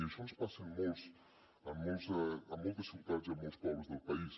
i això ens passa en moltes ciutats i en molts pobles del país